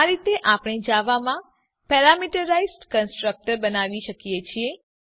આ રીતે આપણે જાવામાં પેરામીટરાઈઝ કન્સ્ટ્રક્ટર બનાવી શકીએ છીએ